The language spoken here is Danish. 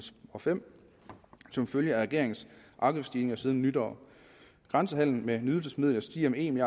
og fem som følge af regeringens afgiftsstigninger siden nytår grænsehandlen med nydelsesmidler stiger med en